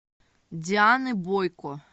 дианы бойко